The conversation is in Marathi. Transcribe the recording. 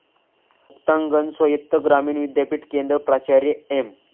मुक्तांगण स्वायत्त ग्रामीण विद्यापीठ केंद्र, प्राचार्य एम.